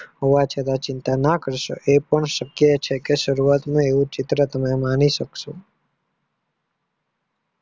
હોવા છતાં ચિંતા ન કરશો એ પણ શક્ય છે કે શરૂઆત ચિત્રત ન મણિ શક્યો